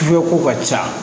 ko ka ca